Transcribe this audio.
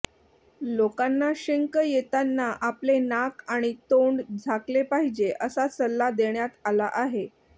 लोकांना शिंक येताना आपले नाक आणि तोंड झाकले पाहिजे असा सल्ला देण्यात आला आहे